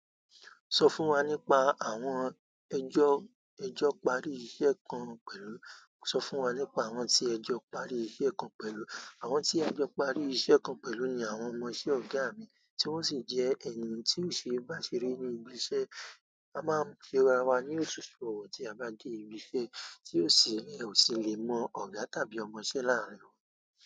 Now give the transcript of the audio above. Sọ fún wa nípa àwọn ẹ́jọ́, ẹ́jọ́ parí iṣẹ́ kan pẹ̀lú, sọ fún wa nípa àwọn tí ẹ́jọ́ parí iṣẹ́ kan pẹ̀lú. Àwọn tí a jọ́ parí iṣẹ́ kan pẹ̀lú ni àwọn ọmọṣẹ́ ọ̀gá mi, tí wọ́n sì jẹ́ ènìyàn tí ò ṣe é bá ṣeré ní ibi iṣẹ́. A máa ń ṣe rá wá ní òṣùṣù ọ̀wọ̀ tí a bá dé ibi iṣẹ́ tí ò sì ń, ò sì le mọ ọ̀gá tàbí ọmọṣẹ́ láàárọ̀.